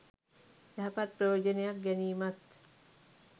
යහපත් ප්‍රයෝජනයක් ගැනීමත්